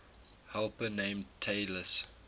helper named talus